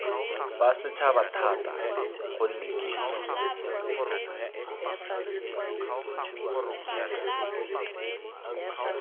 fe setšhaba thata gonne kitso